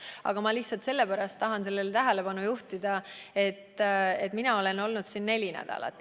Aga ma lihtsalt juhin tähelepanu sellele, et mina olen olnud valitsuses neli nädalat.